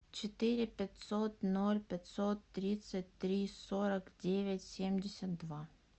четыре пятьсот ноль пятьсот тридцать три сорок девять семьдесят два